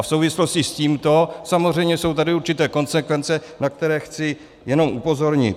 A v souvislosti s tímto samozřejmě jsou tady určité konsekvence, na které chci jenom upozornit.